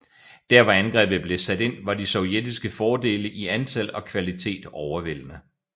Der hvor angrebet blev sat ind var de sovjetiske fordele i antal og kvalitet overvældende